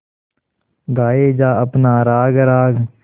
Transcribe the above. गाये जा अपना राग राग